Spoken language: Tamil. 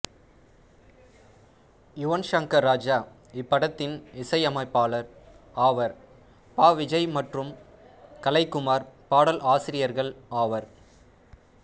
யுவன் ஷங்கர் ராஜா இப்படத்தின் இசை அமைப்பாளர் ஆவார் பா விஜய் மற்றும் கலை குமார் பாடல் ஆசிரியர்கள் ஆவர்